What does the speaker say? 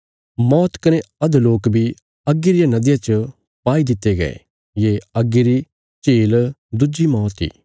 मौत कने अधोलोक बी अग्गी रिया नदिया च पाई दित्ते गये ये अग्गी री झील दुज्जी मौत इ